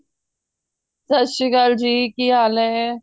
ਸਤਿ ਸ਼੍ਰੀ ਅਕਾਲ ਜੀ ਕੀ ਹਾਲ ਹੈ